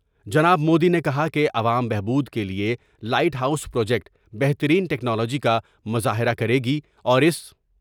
جناب مودی نے کہا کہ عوام بہبود کے لئے لائٹ ہاؤس پروجیکٹ بہترین ٹیکنالوجی کا مظاہرہ کرے گی اور اس